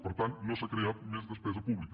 per tant no s’ha creat més despesa pública